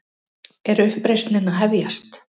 Er uppreisnin að hefjast?